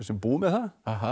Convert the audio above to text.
búinn með það